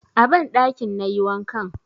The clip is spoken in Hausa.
A banɗakin na yi wankan.